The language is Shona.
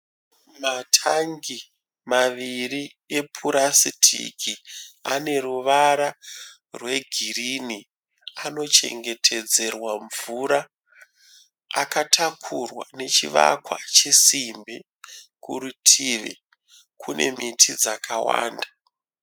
Matangi maviri epurasitiki ane ruvara rwegirini anochengetedzerwa mvura. Akatakurwa nechivakwa chesimbi. Kurutivi kune miti dzakawanda.